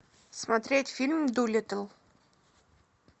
смотреть фильм дулиттл